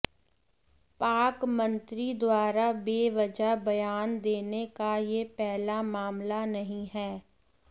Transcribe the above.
पाक मंत्री द्वारा बेवजह बयान देने का यह पहला मामला नहीं है